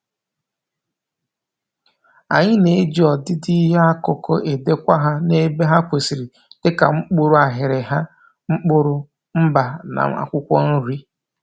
Anyị na-ejị ọdịdị ihe akụkụ edekwa ha n'ebe ha kwesịrị dịka mkpụrụ aghịrịgha, mkpụrụ, mba, na akwụkwọ nri